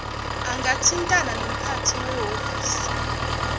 angathintana nomphathi wehhovisi